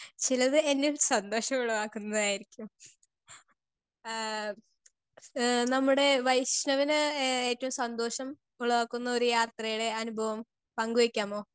Speaker 2 ചിലത് എന്നെ സന്തോഷമുള്ളതാക്കുന്നതായിരിയ്ക്കും ഏഹ് എഹ് നമ്മുടെ വൈഷ്ണവിന് ഏ ഏറ്റവും സന്തോഷം ഉള്ളതാക്കുന്ന ഒരു യാത്രെടെ അനുഭവം പങ്ക് വെക്കാമോ?